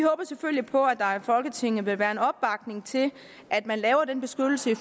selvfølgelig på at der i folketinget vil være en opbakning til at man laver den beskyttelse